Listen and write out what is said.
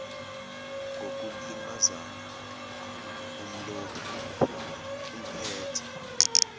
ngokulimazana umlobi uphetha